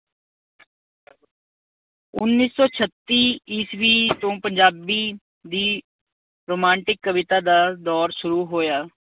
ਉੱਨੀ ਸੌ ਛੱਤੀ ਈਸਵੀ ਤੋਂ ਪੰਜਾਬੀ ਦੀ ਰੁਮਾਂਟਿਕ ਕਵਿਤਾ ਦਾ ਦੌਰ ਸ਼ੁਰੂ ਹੋਇਆ।